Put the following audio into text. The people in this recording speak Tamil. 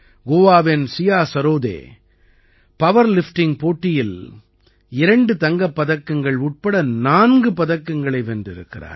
கோவாவின் சியா சரோதே பவர்லிஃப்டிங் போட்டியில் இரண்டு தங்கப் பதக்கங்கள் உட்பட நான்கு பதக்கங்களை வென்றிருக்கிறார்